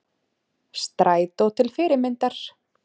Strætó til fyrirmyndar